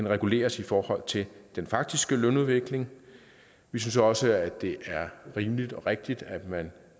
reguleres i forhold til den faktiske lønudvikling vi synes også at det er rimeligt og rigtigt at man